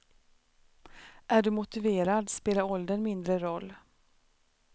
Är du motiverad spelar åldern mindre roll.